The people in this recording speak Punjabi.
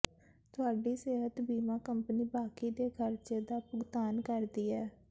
ਤੁਹਾਡੀ ਸਿਹਤ ਬੀਮਾ ਕੰਪਨੀ ਬਾਕੀ ਦੇ ਖਰਚੇ ਦਾ ਭੁਗਤਾਨ ਕਰਦੀ ਹੈ